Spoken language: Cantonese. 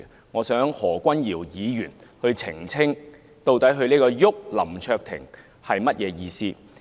我想何君堯議員澄清，他所謂"'郁'林卓廷"，究竟是甚麼意思？